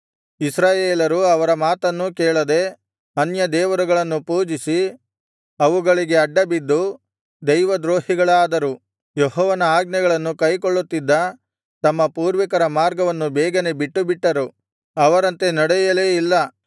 ಇಸ್ರಾಯೇಲರು ಅವರ ಮಾತನ್ನೂ ಕೇಳದೆ ಅನ್ಯದೇವರುಗಳನ್ನು ಪೂಜಿಸಿ ಅವುಗಳಿಗೆ ಅಡ್ಡಬಿದ್ದು ದೈವದ್ರೋಹಿಗಳಾದರು ಯೆಹೋವನ ಆಜ್ಞೆಗಳನ್ನು ಕೈಕೊಳ್ಳುತ್ತಿದ್ದ ತಮ್ಮ ಪೂರ್ವಿಕರ ಮಾರ್ಗವನ್ನು ಬೇಗನೆ ಬಿಟ್ಟುಬಿಟ್ಟರು ಅವರಂತೆ ನಡೆಯಲೇ ಇಲ್ಲ